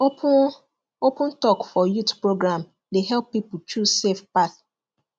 open open talk for youth program dey help people choose safe path